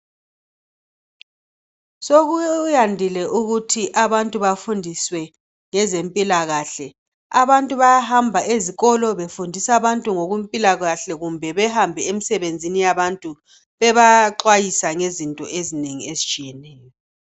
sokuyandile ukuthi abantu bafundiswe ngezempilakahle abantu bayahamba ezikolo befundisa abantu ngokwempilakahle kumbe behambe emsebenzini yabantu bebaxwayisa ngezinto ezinengi ezitshiyeneyo